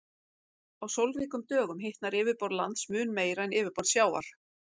Á sólríkum dögum hitnar yfirborð lands mun meira en yfirborð sjávar.